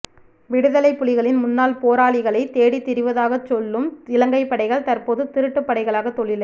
விடுதலைப்புலிகளின் முன்னாள் போராளிகளை தேடி திரிவதாக சொல்லும் இலங்கை படைகள் தற்போது திருட்டுப்படைகளாக தொழிலை